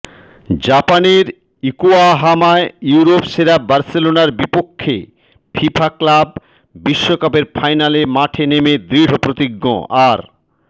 জাপানের ইয়োকাহামায় ইউরোপ সেরা বার্সেলোনার বিপক্ষে ফিফা ক্লাব বিশ্বকাপের ফাইনালে মাঠে নেমে দৃঢ়প্রতিজ্ঞ আর্